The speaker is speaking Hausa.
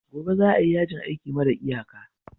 Gobe ​​za a yi yajin aiki mara iyaka